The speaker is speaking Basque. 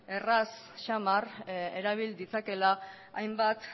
errez xamar erabil ditzakeela hainbat